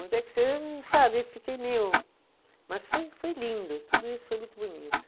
Onde é que se, sabe, e fiquei meio, mas foi foi lindo, tudo isso foi muito bonito.